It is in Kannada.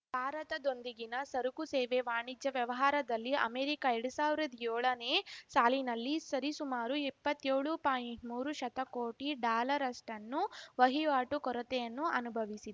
ಭಾರತದೊಂದಿಗಿನ ಸರಕು ಸೇವೆ ವಾಣಿಜ್ಯ ವ್ಯವಹಾರದಲ್ಲಿ ಅಮೆರಿಕ ಎರಡ್ ಸಾವಿರ್ದಾ ಯೋಳನೇ ಸಾಲಿನಲ್ಲಿ ಸರಿಸುಮಾರು ಇಪ್ಪತ್ತೇಳು ಪಾಯಿಂಟ್ಮೂರು ಶತಕೋಟಿ ಡಾಲರಷ್ಟನ್ನು ವಹಿವಾಟು ಕೊರತೆಯನ್ನು ಅನುಭವಿಸಿ